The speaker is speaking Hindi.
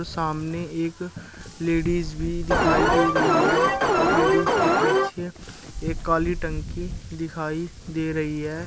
सामने एक लेडिज भी दिखाई दे रही है और लेडिज के पीछे एक काली टंकी दिखाई दे रही है।